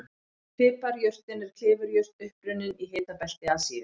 Piparjurtin er klifurjurt upprunnin í hitabelti Asíu.